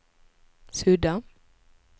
sudda